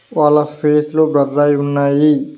వాళ్ళ ఫేస్ లు బ్లర్ అయి ఉన్నాయి.